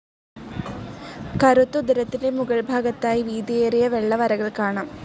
കറുത്ത ഉദരത്തിന്റെ മുകൾ ഭാഗത്തായി വീതിയേറിയ വെള്ള വരകൾ കാണാം.